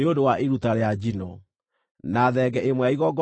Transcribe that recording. na thenge ĩmwe ya igongona rĩa kũhoroherio mehia;